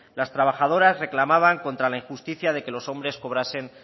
las trabajadoras reclamaban contra la injusticia de que los hombres cobrasen